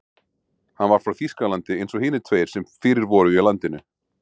Hann var frá Þýskalandi eins og hinir tveir sem fyrir voru í landinu.